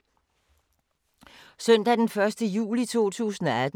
Søndag d. 1. juli 2018